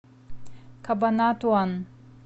кабанатуан